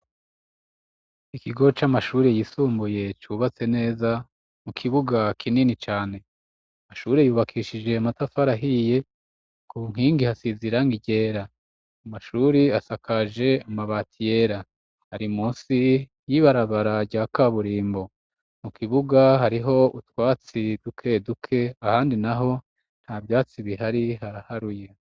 Ikigo c'amashuri yisumbuye cubatse neza mu kibuga kinini cane. Amashuri yubakishije matafari ahiye, ku nkingi hasize irangi ryera. Amashure asakaje amabati yera, ari munsi y'ibarabara rya kaburimbo. Mu kibuga hariho utwatsi duke duke ahandi naho nta vyatsi bihari haraharuye.